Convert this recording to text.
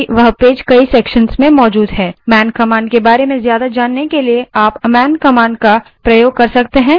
आप man command के बारे में ही अधिक जानने के लिए मैंन command का उपयोग कर सकते हैं